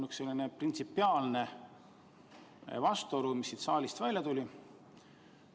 Aga siin saalis tuli välja üks printsipiaalne vastuolu.